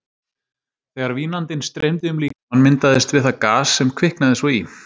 Þegar vínandinn streymdi um líkamann, myndaðist við það gas, sem kviknaði svo í.